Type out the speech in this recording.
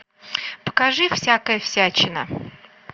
покажи всякая всячина